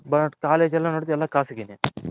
But College ಎಲ್ಲಾ ನೋಡ್ತಿದ್ರೆ ಖಾಸಗಿ ನೆ